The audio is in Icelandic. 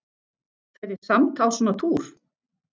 Fer ég samt á svona túr?